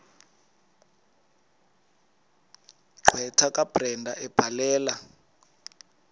gqwetha kabrenda ebhalela